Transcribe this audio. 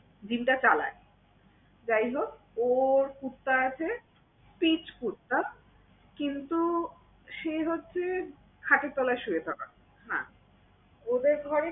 Gym টা চালায়। যাই হোক ওর কুত্তা আছে। Spitz কুত্তা কিন্তু সে হচ্ছে খাটের তলায় শুয়ে থাকা, হ্যাঁ। ওদের ঘরে